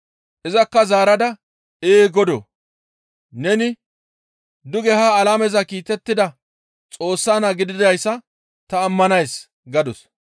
Izakka zaarada, «Ee Godoo! Neni duge ha alameza kiitettida Xoossa Naa gididayssa ta ammanays» gadus.